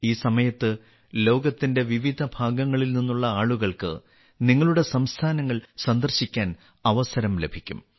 ഈ സമയത്ത് ലോകത്തിന്റെ വിവിധ ഭാഗങ്ങളിൽ നിന്നുള്ള ആളുകൾക്ക് നിങ്ങളുടെ സംസ്ഥാനങ്ങൾ സന്ദർശിക്കാൻ അവസരം ലഭിക്കും